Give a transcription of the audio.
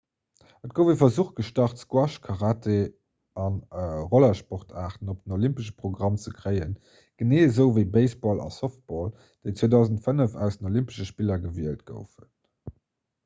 et gouf e versuch gestart squash karate a rollersportaarten op den olympesche programm ze kréien genee esou ewéi baseball a softball déi 2005 aus den olympesche spiller gewielt goufen